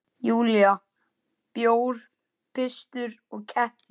Júlía: Bjór, pitsur og kettir.